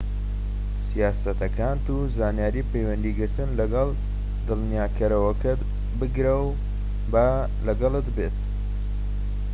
سیاسەتەکانت و زانیاری پەیوەندیگرتن لەگەڵ دلنیاییکارەکەت بگرەوە و با لەگەڵت بێت